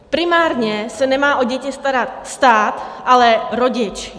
Primárně se nemá o děti starat stát, ale rodič.